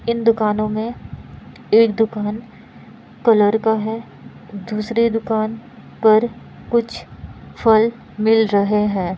इन दुकानों में एक दुकान कलर का है दूसरी दुकान पर कुछ फल मिल रहे हैं।